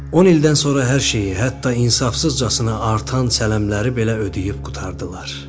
10 ildən sonra hər şeyi, hətta insafsızcasına artan çələmləri belə ödəyib qurtardılar.